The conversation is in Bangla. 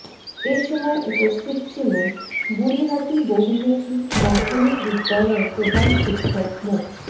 এ সময় উপস্থিত ছিলেন বুড়িহাটি বহুমুখি মাধ্যমিক বিদ্যালয়ের প্রধান শিক্ষক মো